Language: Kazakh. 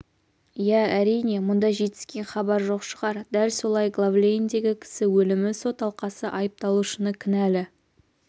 иә әрине мұнда жетіскен хабар жоқ шығар дәл солай глав-лейндегі кісі өлімі сот алқасы айыпталушыны кінәлі